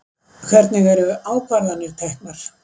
Hvernig eru ákvarðanir teknar?